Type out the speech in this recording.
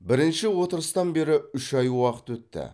бірінші отырыстан бері үш ай уақыт өтті